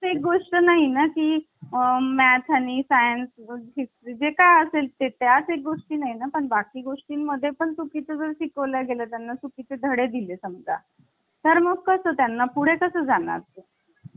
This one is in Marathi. आणि आपण आता हे राज्यघटनेचे जे विविध स्रोत आहे ते व्यवस्थितपणे अभ्यासलेले आहे आणि कोणत्या देशाकडून आपण काय घेतलेल आहे त्यांचासुद्धा व्यवस्थितपणे अभ्यास केलेला आहे. यांनतर आता आपल्याला